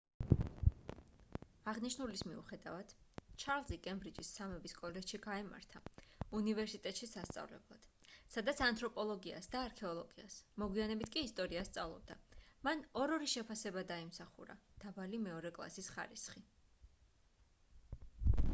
აღნიშნულის მიუხედავად ჩარლზი კემბრიჯის სამების კოლეჯში გაემართა უნივერსიტეტში სასწავლებლად სადაც ანთროპოლოგიას და არქეოლოგიას მოგვიანებით კი ისტორიას სწავლობდა მან 2:2 შეფასება დაიმსახურა დაბალი მეორე კლასის ხარისხი